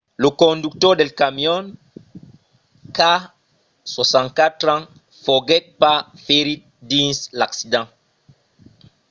lo conductor del camion qu’a 64 ans foguèt pas ferit dins l’accident